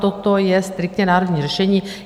Toto je striktně národní řešení.